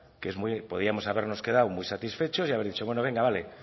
que podíamos habernos quedado muy satisfechos y haber dicho venga vale